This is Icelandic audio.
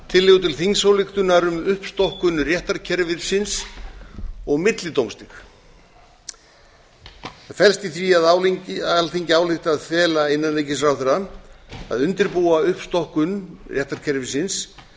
tillögu til þingsályktunar um uppstokkun réttarkerfisins og millidómstig það felst í því að alþingi álykti að fela innanríkisráðherra að undirbúa uppstokkun réttarkerfisins